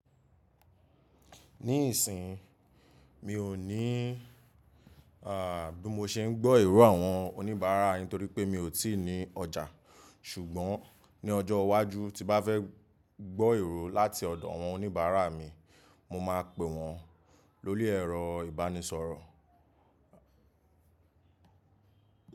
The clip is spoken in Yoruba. Nísìínyi, mi ò ní à bí mo ṣe ń gbọ́ èrò àwọn oníbàárà yin torípé mi ò tí ì ní ọjà. Ṣùgbọ́n ní ọjọ́ iwájú tí bá fẹ́ gbọ́ èró láti ọ̀dọ̀ àwọn oníbàárà mi mo máa pe wọn lórí ẹ̀rọ ìbánisọ̀rọ̀.